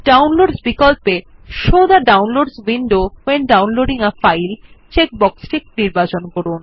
ডাউনলোডসহ বিকল্পে show the ডাউনলোডসহ window when downloading a file check বক্সটি নির্বাচন করুন